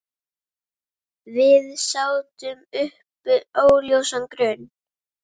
Við sátum uppi óljósan grun.